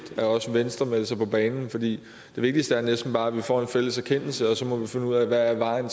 at også venstre melder sig på banen for det vigtigste er næsten bare at vi får en fælles erkendelse og så må vi finde ud af hvad vejen